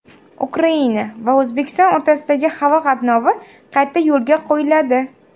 Ukraina va O‘zbekiston o‘rtasidagi havo qatnovi qayta yo‘lga qo‘yiladi.